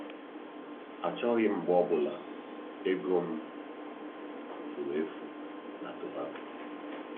Achọghị m mgbe ọ bụla ego m furu efu na tobako.